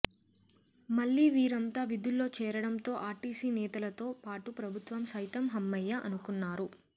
మళ్లీ వీరంతా విధుల్లో చేరడం తో ఆర్టీసీ నేతలతో పాటు ప్రభుత్వం సైతం హమ్మయ్య అనుకున్నారు